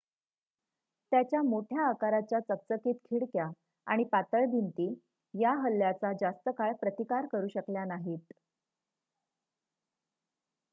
त्याच्या मोठ्या आकाराच्या चकचकीत खिडक्या आणि पातळ भिंती या हल्ल्याचा जास्त काळ प्रतिकार करू शकल्या नाहीत